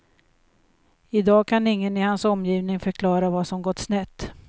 I dag kan ingen i hans omgivning förklara vad som gått snett.